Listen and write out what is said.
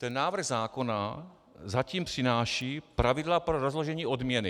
Ten návrh zákona zatím přináší pravidla pro rozložení odměny.